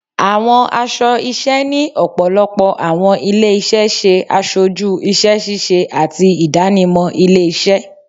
Àwọn aṣọ iṣẹ́ ni ọ̀pọ̀lọpọ̀ àwọn ilé-iṣẹ ṣe aṣojú iṣẹ́-ṣíṣe ati ìdánimọ̀ ilé-iṣẹ́.